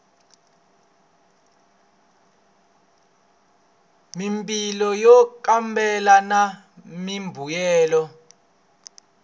mimpimo yo kambela na mimbuyelo